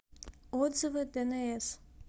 отзывы дэнээс